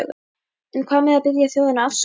En hvað með að biðja þjóðina afsökunar?